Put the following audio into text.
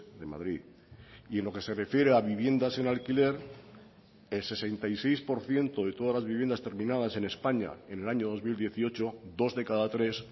de madrid y en lo que se refiere a viviendas en alquiler el sesenta y seis por ciento de todas las viviendas terminadas en españa en el año dos mil dieciocho dos de cada tres